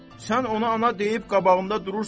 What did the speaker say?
Sən ona ana deyib qabağında durursan?